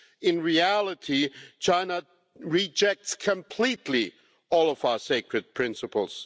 In reality, China rejects completely all of our sacred principles.